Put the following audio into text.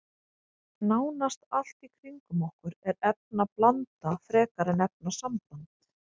Nánast allt í kringum okkur er efnablanda frekar en efnasamband.